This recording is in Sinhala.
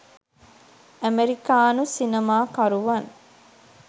ඇමෙරිකානු සිනමා කරුවන්